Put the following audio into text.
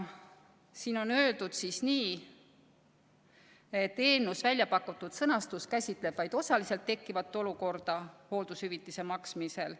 Siin on öeldud nii: "Eelnõus väljapakutud sõnastus käsitleb vaid osaliselt tekkivat olukorda hooldushüvitise maksmisel.